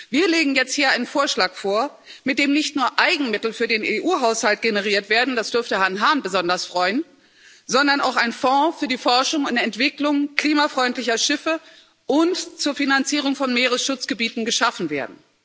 Wir legen jetzt hier einen Vorschlag vor, mit dem nicht nur Eigenmittel für den EU Haushalt generiert werden das dürfte Herrn Hahn besonders freuen sondern auch ein Fonds für die Forschung und Entwicklung klimafreundlicher Schiffe und zur Finanzierung von Meeresschutzgebieten geschaffen wird.